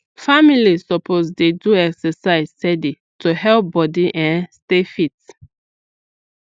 families suppose dey do exercise steady to help body um stay fit